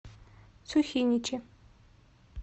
сухиничи